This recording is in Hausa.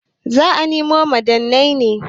Za a nemo ma'adanai ne.